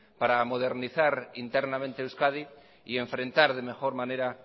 para modernizar internamente euskadi y enfrentar de mejor manera